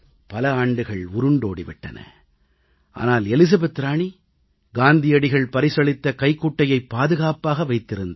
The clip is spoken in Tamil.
பல ஆண்டுகள் உருண்டோடி விட்டன ஆனால் எலிசபெத் ராணி காந்தியடிகள் பரிசளித்த கைக்குட்டையை பாதுகாப்பாக வைத்திருந்தார்